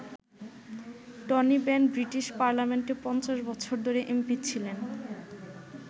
Tony Benn British পার্লামেন্টে ৫০ বছর ধরে এমপি ছিলেন।